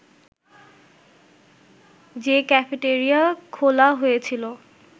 যে ক্যাফেটেরিয়া খোলা হয়েছিল